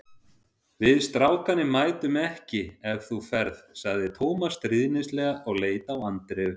Við strákarnir mætum ekki ef þú ferð sagði Tómas stríðnislega og leit á Andreu.